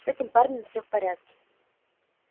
с этим парнем все в порядке